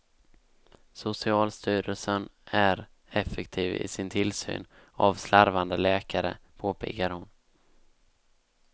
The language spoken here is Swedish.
Socialstyrelsen är effektiv i sin tillsyn av slarvande läkare, påpekar hon.